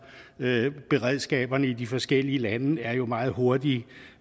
beredskaberne i de forskellige lande er jo meget hurtige